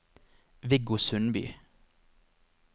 Viggo Sundby